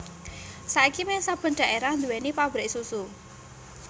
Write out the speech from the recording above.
Saiki méh saben dhaérah nduwèni pabrik susu